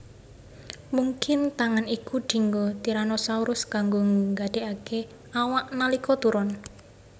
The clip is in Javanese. Mungkin tangan iku dinggo Tyrannosaurus kanggo ngadhekaké awak nalika turon